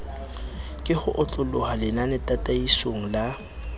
ka ho otloloha lenanetataisong la